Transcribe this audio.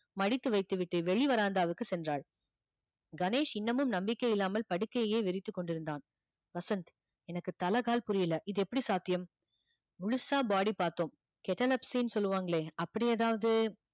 மடித்து வைத்துவிட்டு வெளி veranda வுக்கு சென்றாள் கணேஷ் இன்னமும் நம்பிக்கை இல்லாமல் படுக்கையையே விரித்துக் கொண்டிருந்தான் வசந்த் எனக்கு தலை கால் புரியல இது எப்படி சாத்தியம் முழுசா body பார்த்தோம் catalepsy ன்னு சொல்லுவாங்களே அப்படி ஏதாவது